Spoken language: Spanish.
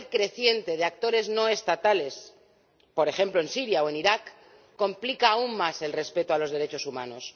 El papel creciente de actores no estatales ―por ejemplo, en Siria o en Irak― complica aún más el respeto a los derechos humanos.